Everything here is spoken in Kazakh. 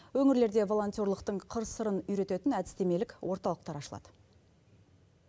өңірлерде волонтерлықтың қыр сырын үйрететін әдістемелік орталықтар ашылады